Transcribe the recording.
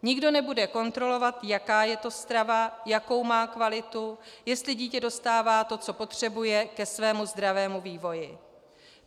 Nikdo nebude kontrolovat, jaká je to strava, jakou má kvalitu, jestli dítě dostává to, co potřebuje ke svému zdravému vývoji.